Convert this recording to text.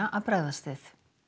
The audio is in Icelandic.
að bregðast við